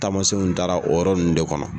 Taamasenw taara o yɔrɔ ninnu de kɔnɔ